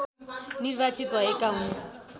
निर्वार्चित भएका हुन्